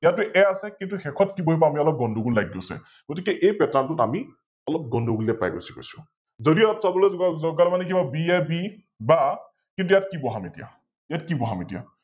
ইয়াতে A আছে কিন্তু শেষত কি বহিব আমি অলপ গুন্দগোল লাগি গৈছে, গতিকে এই Pattern টোত আমি অলপ গুন্দগোলিয়া পাই গুছি গৈছো ।যদি অলপ যোৱা তাৰমানে কিবা BAB বা কিন্তু ইয়াত আমি কি বহাম, এতিয়া ইয়াত কি বহাম?